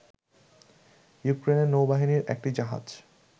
ইউক্রেনের নৌবাহিনীর একটি জাহাজ